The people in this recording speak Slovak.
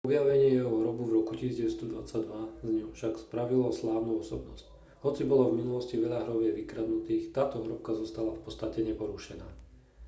objavenie jeho hrobu v roku 1922 z neho však spravilo slávnu osobnosť hoci bolo v minulosti veľa hrobiek vykradnutých táto hrobka zostala v podstate neporušená